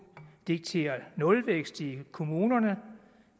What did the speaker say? dikterer nulvækst i kommunerne at